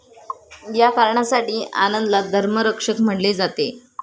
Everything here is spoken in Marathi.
या कारणासाठी आनंदला धर्मरक्षक म्हणले जाते.